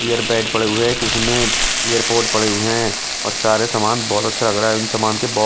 air pad पड़े हुए हैं किसी में एयरपोर्ट पड़े हुए हैं और सारे सामान बहुत अच्छा लग रहा है उन सामान के बहुत --